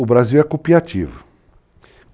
O Brasil é copiativo.